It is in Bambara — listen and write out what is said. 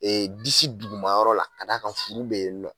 Ee disi dugumayɔrɔ la ka d'a kan furu bɛ yen nɔ.